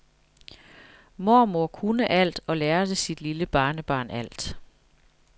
Mormor kunne alt og lærte sit lille barnebarn alt.